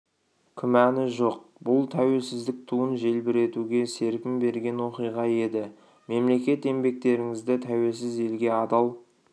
күмәні жоқ бұл тәуелсіздік туын желбіретуге серпін берген оқиға еді мемлекет еңбектеріңізді тәуелсіз елге адал